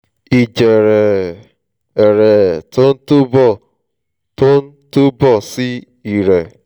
ìjẹ̀rẹ̀ ẹ̀ ẹ̀ ẹ̀rẹ́ tó ń túbọ̀ tó ń túbọ̀ sí ìrẹ́